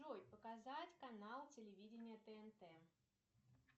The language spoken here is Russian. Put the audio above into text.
джой показать канал телевидения тнт